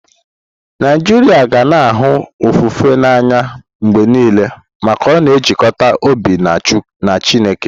Naijiria ga na-ahụ ofufe n'anya mgbe niile maka ọ na-ejikọta obi na Chineke.